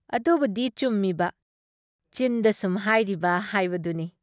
ꯑꯗꯨꯕꯨꯗꯤ ꯆꯨꯝꯃꯤꯕ, ꯆꯤꯟꯗ ꯁꯨꯝ ꯍꯥꯏꯔꯤꯕ ꯍꯥꯏꯕꯗꯨꯅꯤ ꯫